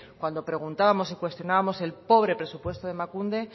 cuando preguntábamos y cuestionábamos el pobre presupuesto de emakunde